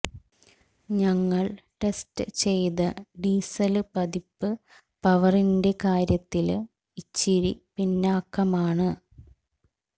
ഞങ്ങള് ടെസ്റ്റ് ചെയ്ത ഡീസല് പതിപ്പ് പവറിന്റെ കാര്യത്തില് ഇച്ചിരി പിന്നാക്കമാണ്